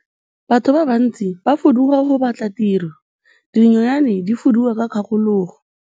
Batho ba bantsi ba fuduga go batla tiro, dinonyane di fuduga ka dikgakologo.